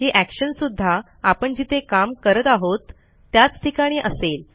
ही actionसुध्दा आपण जिथे काम करत आहोत त्याच ठिकाणी असेल